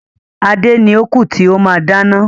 Adé ni ó kú tí ó máa dáná.